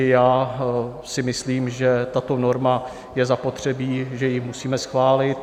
I já si myslím, že tato norma je zapotřebí, že ji musíme schválit.